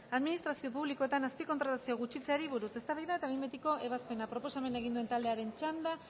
administrazio publikoetan azpikontratazioa gutxitzeari buruz eztabaida eta behin betiko ebazpena proposamena egin duen taldearen txanda